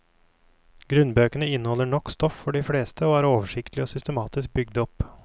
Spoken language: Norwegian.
Grunnbøkene inneholder nok stoff for de fleste og er oversiktlig og systematisk bygd opp.